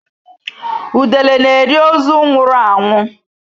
Udele na-eri ozu nwụrụ anwụ.